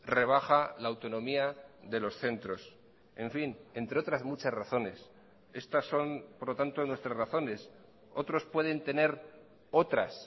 rebaja la autonomía de los centros en fin entre otras muchas razones estas son por lo tanto nuestras razones otros pueden tener otras